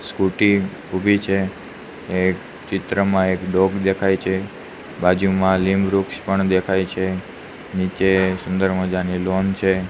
Scooty ઉભી છે એ ચિત્રમાં એક ડોગ દેખાય છે બાજુમાં લિમ વૃક્ષ પણ દેખાય છે નીચે સુંદર મજાની લોન છે.